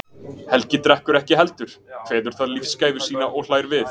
Helgi drekkur ekki heldur, kveður það lífsgæfu sína og hlær við.